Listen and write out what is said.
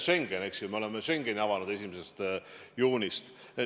Schengeni me oleme avanud 1. juunist.